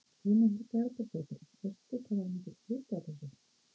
Guðný Helga Herbertsdóttir: Veistu hvað er mikill hiti á þessu?